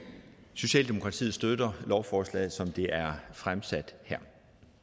socialdemokratiet støtter lovforslaget som det er fremsat her